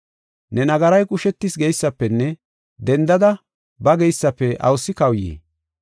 ‘Ne nagaray qushetis geysafenne dendada ba geysafe awusi kawuyii?’